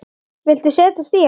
Viltu setjast í hann?